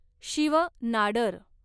Shiv Nadar